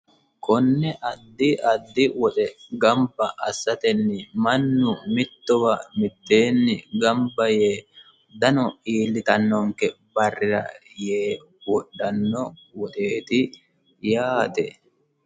Konne addi addi woxe gamba assateni mannu mittowa mitteenni gamba yee dano iillittanonke barrira yee wodhano woxeti yaate.